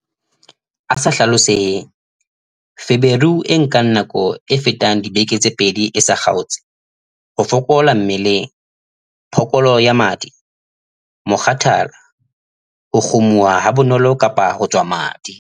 A sa hlaloseheng- Feberu e nkang nako e fetang dibeke tse pedi e sa kgaotse, ho fokola mmeleng, phokolo ya madi, mokgathala, ho kgumuha habonolo kapa ho tswa madi.